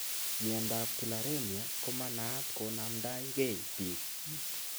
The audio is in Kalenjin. Miondap tularemia komanaat konamdai kei piik